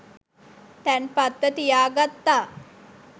තැන්පත්ව තියා ගත්තා.